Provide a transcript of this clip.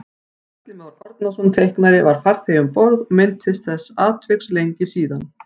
Atli Már Árnason teiknari var farþegi um borð og minntist þessa atviks lengi síðan